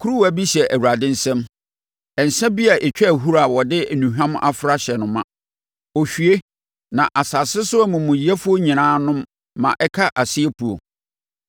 Kuruwa bi hyɛ Awurade nsam nsã bi a ɛtwa ahuro a wɔde nnuhwam afra ahyɛ no ma; ɔhwie, na asase so amumuyɛfoɔ nyinaa nom ma ɛka aseɛ puo.